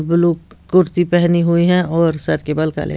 blue कुर्ती पहनी हुई है और सर के बाल काले--